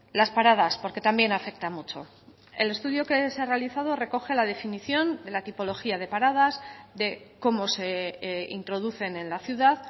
las paradas porque también afecta mucho el estudio que se ha realizado recoge la definición de la tipología de paradas de cómo se introducen en la ciudad